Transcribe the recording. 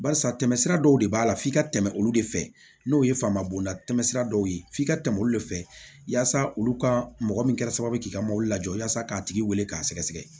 Barisa tɛmɛsira dɔw de b'a la f'i ka tɛmɛ olu de fɛ n'o ye fama bonda tɛmɛsira dɔw ye f'i ka tɛmɛ olu de fɛ yasa olu ka mɔgɔ min kɛra sababuye k'i ka mobili jɔ yaasa k'a tigi wele k'a sɛgɛsɛgɛ